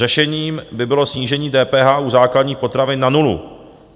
Řešením by bylo snížení DPH u základních potravin na nulu.